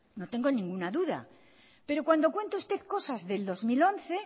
no tengo ninguna duda pero cuando cuenta usted cosas del dos mil once